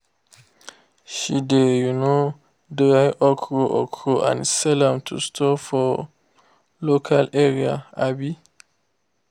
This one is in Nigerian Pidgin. she de um dry okro okro and sell am to stores for local area. um